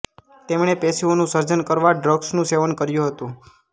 તેમણે પેશીઓનું સર્જન કરવા ડ્રગ્સનું સેવન કર્યું હતું